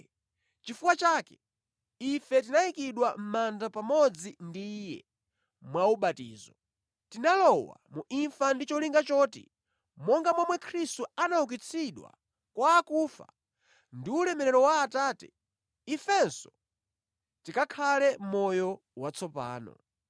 Chifukwa chake ife tinayikidwa mʼmanda pamodzi ndi Iye mwa ubatizo. Tinalowa mu imfa ndi cholinga choti monga momwe Khristu anaukitsidwa kwa akufa ndi ulemerero wa Atate, ifenso tikakhale mʼmoyo watsopano.